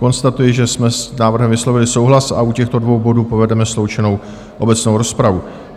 Konstatuji, že jsme s návrhem vyslovili souhlas a u těchto dvou bodů povedeme sloučenou obecnou rozpravu.